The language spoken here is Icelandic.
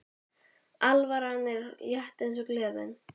Alvaran er létt eins og gleðin.